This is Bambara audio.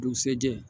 Dugusajɛ